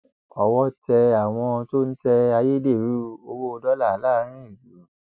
owó ọtẹ àwọn tó ń tẹ ayédèrú owó dọlà láàrin ìlú